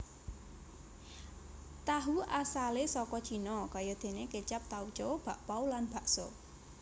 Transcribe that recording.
Tahu asalé saka Cina kayadéné kécap tauco bakpau lan bakso